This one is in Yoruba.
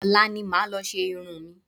Ọ̀la ni màá lọ ṣe irun mi